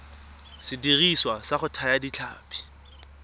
sediriswa sa go thaya ditlhapi